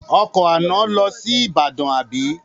Ọkọ̀ àná lọ sí Èkó àbí?